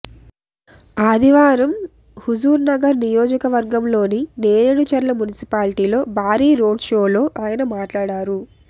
ఆదివారం హుజుర్నగర్ నియోజక వర్గంలోని నేరేడుచర్ల మున్సిపాలిటీలో భారీ రోడ్షోలో ఆయన మాట్లాడారు